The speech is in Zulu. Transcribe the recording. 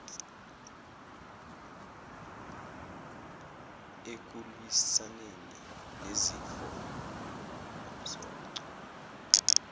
ekulwisaneni nezifo umsoco